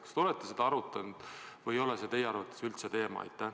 Kas te olete seda arutanud või ei ole see teie arvates üldse teema?